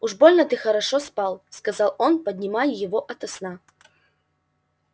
уж больно ты хорошо спал сказал он поднимая его ото сна